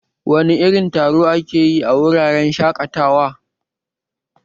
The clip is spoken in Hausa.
Wasu irin taro ake yi a wuraren shaƙatawa?